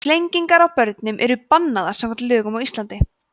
flengingar á börnum eru bannaðar samkvæmt lögum á íslandi